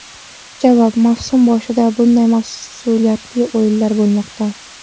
Javob: Mavsum boshida bunday mas’uliyatli o‘yinlar bo‘lmoqda.